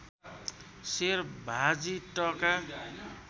सेर भाजी टका